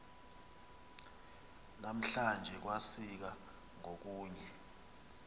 namhlanje kwasika ngokunye